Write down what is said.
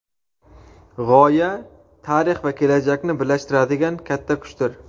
G‘oya tarix va kelajakni birlashtiradigan katta kuchdir.